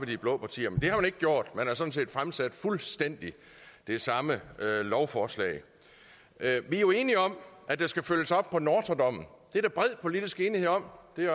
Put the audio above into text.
de blå partier men det har ikke gjort man har sådan set fremsat fuldstændig det samme lovforslag vi er jo enige om at der skal følges op på nortra dommen det er der bred politisk enighed om